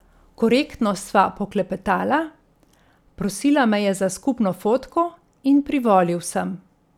Korektno sva poklepetala, prosila me je za skupno fotko in privolil sem.